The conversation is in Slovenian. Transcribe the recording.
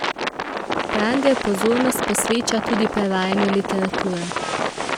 Pranger pozornost posveča tudi prevajanju literature.